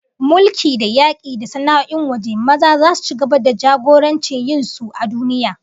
Mulki, da yaki, da sana'o'in waje, maza zasu ci gaba da jagorantar yin sun a duniya